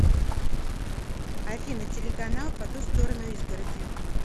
афина телеканал по ту сторону изгороди